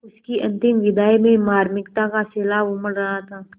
उसकी अंतिम विदाई में मार्मिकता का सैलाब उमड़ रहा था